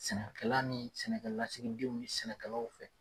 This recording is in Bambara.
Sɛnɛkɛla ni sɛnɛkɛ lasigidenw ni sɛnɛkɛlaw fɛ.